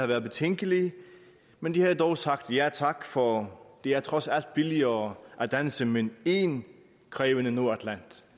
været betænkelige men de havde dog sagt ja tak for det er trods alt billigere at danse med én krævende nordatlanter